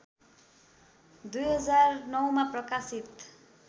२००९मा प्रकाशित